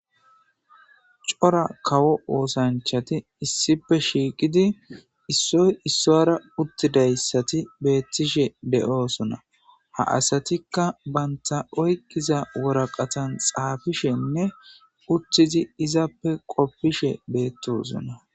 Cora kawo oosanchati issipe shiiqidi issoy issoyra uttidayssati beettishe de'oosona. ha asatikka baynta oykkiza woraqatan xaafishenne uttizi izappe qoppishe beettosona.